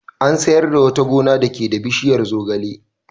An sayar da wata gona dake da bishiyar zogale.